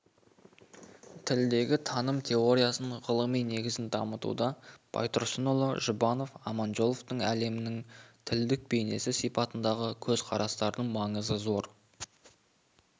тілдегі таным теориясының ғылыми негізін дамытуда байтұрсынұлы жұбанов аманжоловтың әлемнің тілдік бейнесі сипатындағы көзқарастарының маңызы зор